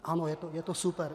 Ano, je to super.